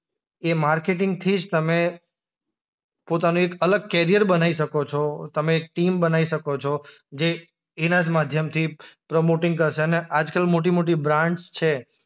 એ માર્કેટિંગથી જ તમે પોતાનું એક અલગ કરિયર બનાઈ શકો છો, તમે એક ટીમ બનાઈ શકો છો જે એના જ માધ્યમથી પ્રમોટિંગ કરશે અને આજકાલ મોટી-મોટી બ્રાન્ડસ છે.